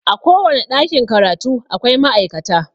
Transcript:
A kowane ɗakin karatu akwai ma'aikata